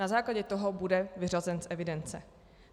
Na základě toho bude vyřazen z evidence.